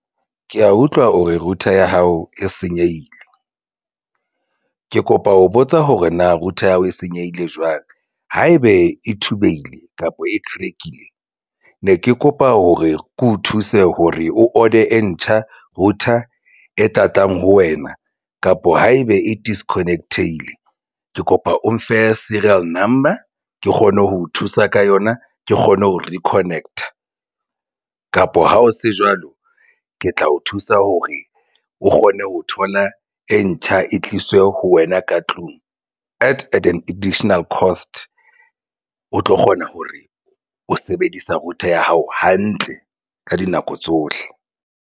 Ke ya utlwa o re router ya hao e senyehile ke kopa ho botsa hore na router ya hao e senyehile jwang haebe e thubehile kapa e crack-ile ne ke kopa hore ke o thuse hore o order-de e ntjha router e tlatlang ho wena kapa haebe e disconnected-ile ke kopa o mfe serial number ke kgone ho o thusa ka yona ke kgone ho reconnect-a kapa ha o se jwalo ke tla o thusa hore o kgone ho thola e ntjha e tliswe ho wena ka tlung at an additional cost. O tlo kgona hore o sebedisa router ya hao hantle ka dinako tsohle.